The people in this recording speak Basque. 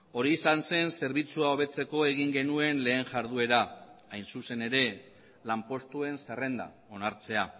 hori izan zen zerbitzua hobetzeko egin genuen lehen jarduera hain zuzen ere lanpostuen zerrenda onartzea